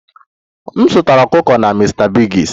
M zụtara ọkụkọ na Mr biggs